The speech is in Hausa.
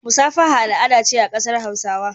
Musafaha al'ada ce a kasar hausawa.